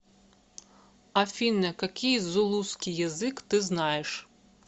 афина какие зулусский язык ты знаешь